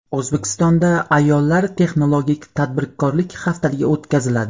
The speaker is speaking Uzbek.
O‘zbekistonda ayollar texnologik tadbirkorlik haftaligi o‘tkaziladi.